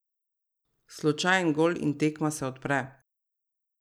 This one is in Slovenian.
Slučajen gol in tekma se odpre.